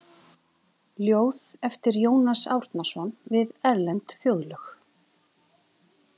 Ljóð eftir Jónas Árnason við erlend þjóðlög.